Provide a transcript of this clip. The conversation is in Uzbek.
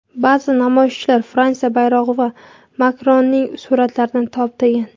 Ba’zi namoyishchilar Fransiya bayrog‘i va Makronning suratlarini toptagan.